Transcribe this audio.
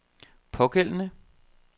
pågældende